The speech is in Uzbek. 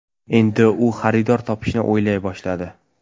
Endi u xaridor topishni o‘ylay boshladi.